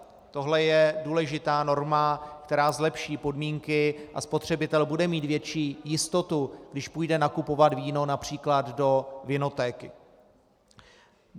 Tohle je důležitá norma, která zlepší podmínky, a spotřebitel bude mít větší jistotu, když půjde nakupovat víno například do vinotéky.